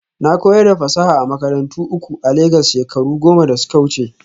Na koyar da fasaha a makarantu uku a Legas shekaru goma da suka wuce